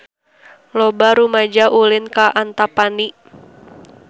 Loba rumaja ulin ka Antapani